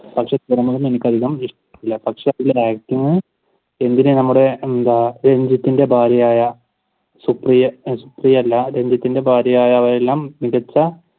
എന്തിനു നമ്മുടെ രഞ്ജിത്തിന്റെ ഭാര്യയായ സുപ്രിയ സുപ്രിയ അല്ല രഞ്ജിത്തിന്റെ ഭാര്യയായ അവയെല്ലാം മികച്ച